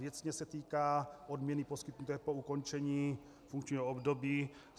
Věcně se týká odměny poskytnuté po ukončení funkčního období.